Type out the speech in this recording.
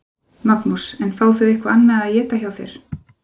Magnús: En fá þau eitthvað annað að éta hjá þér?